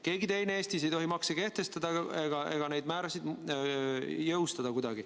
Keegi teine Eestis ei tohi makse kehtestada ega kuidagi neid määrasid jõustada.